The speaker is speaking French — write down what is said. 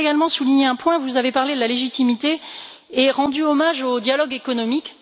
Je voudrais également souligner un point vous avez parlé de la légitimité et rendu hommage au dialogue économique.